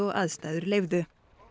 aðstæður leyfðu